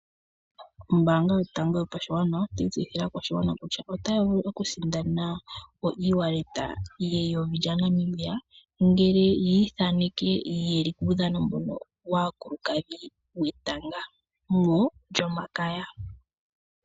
Ombaanga yotango yopashigwana otayi tseyithile aakwashigwana kutya otaya vulu oku sindana o ewallet yeyovi lyaNamibia ngele yi ithaneke yeli puudhano mbono waakulukadhi wetanga molyomakaya.